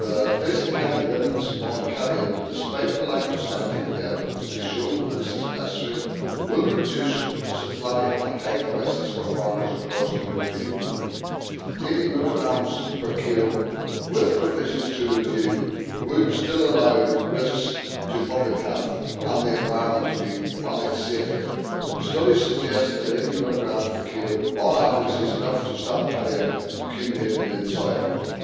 Placing heavy limits on cadmium, despite the lack of scientific evidence to show this is necessary, will reduce supply and hike prices for farmers across the European Union. 80 mg per kilo with provisions to review would still allow risks to public health and the environment to be managed safely. Studies suggest that 80 mg per kilo on average is enough to stop cadmium accumulating in soil.